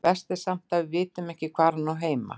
Verst samt að við vitum bara ekkert hvar hún á heima.